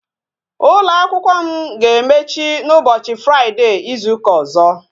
Ụlọ akwụkwọ m ga-emechi n'ụbọchị fraide Izu ụka ọzọ